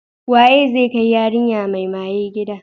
Waye zai kai yarinya mai maye gida?